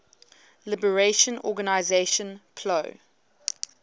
liberation organization plo